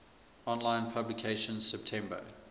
online publication september